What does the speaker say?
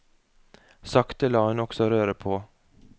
Sakte la hun også røret på.